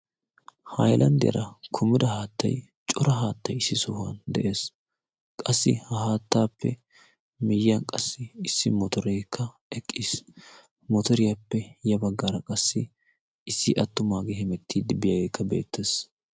hailanddeara kumida haattay cora haattay issi sohuwan de'ees. qassi ha haattaappe miyyiyan qassi issi motoreekka eqqiis. motoriyaappe ya baggaara qassi issi attumaagee hemettii dibbiyaageekka beettees.